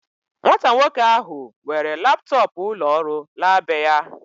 Nwata nwoke ahu were laptọọpụ ulo ọrụ la beya